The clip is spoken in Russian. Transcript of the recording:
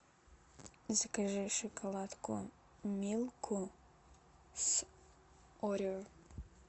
закажи шоколадку милку с орео